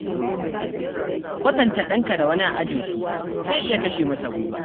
Kwatanta ɗanka da wani a ajinsu, zai iya kashe masa gwiwa.